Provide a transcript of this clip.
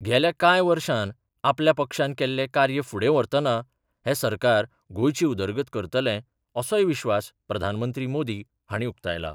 गेल्या कांय वर्षांत आपल्या पक्षान केल्ले कार्य फुडे व्हरतना हे सरकार गोंयची उदरगत करतले असोय विश्वास प्रधानमंत्री मोदी हांणी उक्तायला.